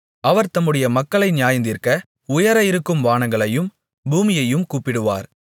அவர் தம்முடைய மக்களை நியாயந்தீர்க்க உயர இருக்கும் வானங்களையும் பூமியையும் கூப்பிடுவார்